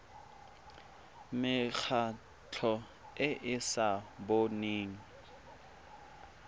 mekgatlho e e sa boneng